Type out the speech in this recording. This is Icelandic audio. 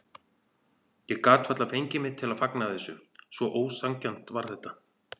Ég gat varla fengið mig til að fagna þessu, svo ósanngjarnt var þetta.